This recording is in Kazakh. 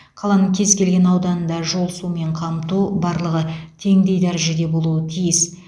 қаланың кез келген ауданында жол сумен қамту барлығы теңдей дәрежеде болуы тиіс